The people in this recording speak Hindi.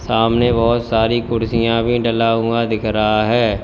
सामने बहुत सारी कुर्सियां भी डाला हुआ दिख रहा है।